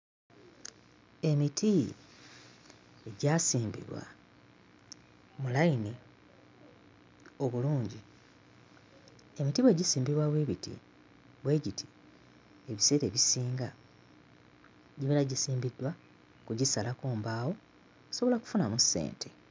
Emiti egyasimbibwa mu layini obulungi. Emiti bwe gisimbibwa bwe biti bwe giti ebiseera ebisinga gibeera gisimbiddwa kugisalako mbaawo okusobola okufunamu ssente.